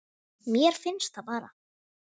Mér fannst það bara.